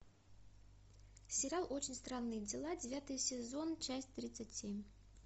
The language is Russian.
сериал очень странные дела девятый сезон часть тридцать семь